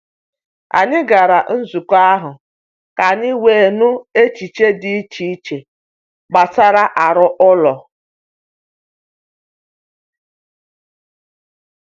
Anyị gara nzukọ ahụ ka anyị wee nụ echiche dị iche iche gbasara aro ụlọ.